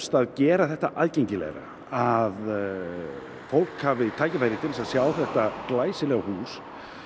að gera þetta aðgengilegra að fólk hafi tækifæri til þess að sjá þetta glæsilega hús